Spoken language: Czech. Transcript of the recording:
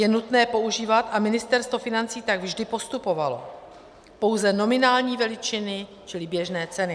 Je nutné používat, a Ministerstvo financí tak vždy postupovalo, pouze nominální veličiny čili běžné ceny.